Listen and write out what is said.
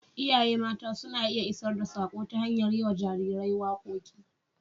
Iyaye mata suna iya isar da saƙo ta hanyar yi wa jarirai waƙoƙi.